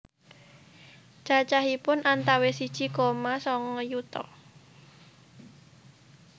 Cacahipun antawis siji koma sanga yuta